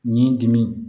Nin dimi